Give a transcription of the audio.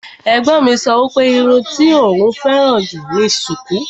Ẹ̀gbọ́n mi sọ wípé irun tí òún féràn jù ni sùkú.